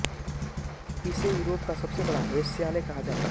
इसे यूरोप का सबसे बड़ा वेश्यालय कहा जाता है